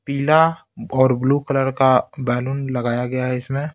पीलाऔर blue colour का balloon लगाया गया है इसमें--